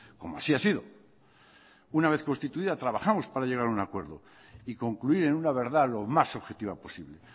como así ha sido una vez constituida trabajamos para llegar a un acuerdo y concluir en una verdad lo más objetiva posible